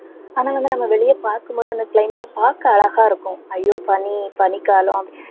ஆனா வந்து நம்ம வெளியே பார்க்கும் போது அந்த climate அ பார்க்க அழகா இருக்கும். ஐயோ பனி, பனிக்காலம்